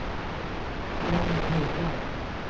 Emmy Hedberg